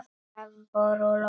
Það voru lóur.